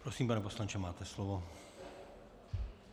Prosím, pane poslanče, máte slovo.